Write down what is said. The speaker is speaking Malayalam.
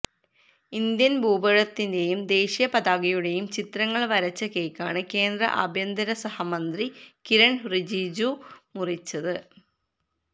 ഇന്ത്യന് ഭൂപടത്തിന്റെയും ദേശീയ പതാകയുടെയും ചിത്രങ്ങള് വരച്ച കേക്കാണ് കേന്ദ്ര ആഭ്യന്തര സഹമന്ത്രി കിരണ് റിജിജു മുറിച്ചത്